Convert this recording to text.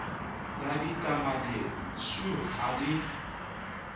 ya ditameneng shu ha di